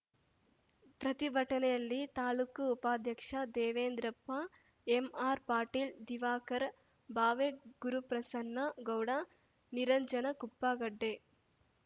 ಪ್ರತಿಭಟನೆಯಲ್ಲಿ ತಾಲೂಕು ಉಪಾಧ್ಯಕ್ಷ ದೇವೇಂದ್ರಪ್ಪ ಎಂಆರ್‌ ಪಾಟೀಲ್‌ ದಿವಾಕರ ಭಾವೆ ಗುರುಪ್ರಸನ್ನ ಗೌಡ ನಿರಂಜನ ಕುಪ್ಪಗಡ್ಡೆ